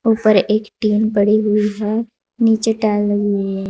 ऊपर एक टीन पड़ी हुई है नीचे टाइल लगी हुई है।